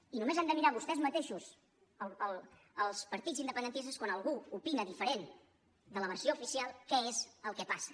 i només han de mirar vostès mateixos els partits independentistes quan algú opina diferent de la versió oficial què és el que passa